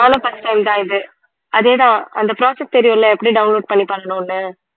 நானும் first time தான் இது அதே தான் அந்த process தெரியும் இல்ல எப்படி download பண்ணி பண்ணனும்னு